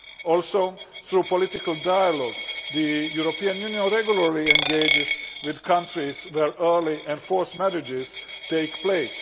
Also, through political dialogue the European Union regularly engages with countries where early and forced marriages take place.